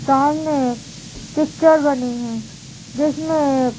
सामने एक पिक्चर बनी है जिसमे एक --